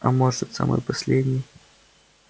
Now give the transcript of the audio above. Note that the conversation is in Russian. а может самый последний